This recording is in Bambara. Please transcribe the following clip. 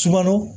Surakalo